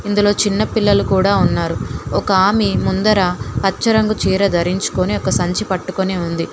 ఇందులో చిన్న పిల్లలు కూడా ఉన్నారు ఒక ఆమె ముందర పచ్చ రంగు చీర ధరించుకొని ఒక సంచి పట్టుకొని ఉంది.